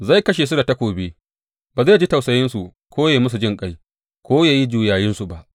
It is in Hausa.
Zai kashe su da takobi; ba zai ji tausayinsu ko ya yi musu jinƙai ko ya yi juyayinsu ba.’